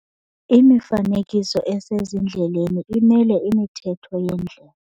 Imifanekiso esezindleleni imele imithetho yendlela.